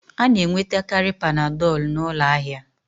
A na-enwetakarị Panadolu n'ụlọ ahịa